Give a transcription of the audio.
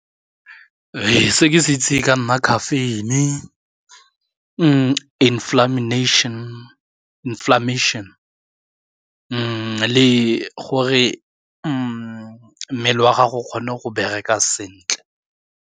Ee, se ke se itse ka nna caffeine, inflammation gore mmele wa gago o kgone go bereka sentle.